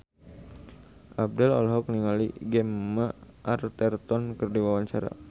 Abdel olohok ningali Gemma Arterton keur diwawancara